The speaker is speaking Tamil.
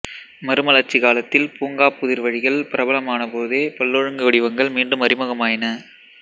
மறுமலர்ச்சிக் காலத்தில் பூங்காப் புதிர்வழிகள் பிரபலமானபோதே பல்லொழுங்கு வடிவங்கள் மீண்டும் அறிமுகமாயின